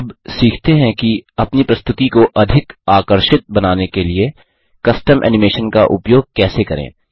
अब सीखते हैं कि अपनी प्रस्तुति को अधिक आकर्षित बनाने के लिए कस्टम एनिमेशन का उपयोग कैसे करें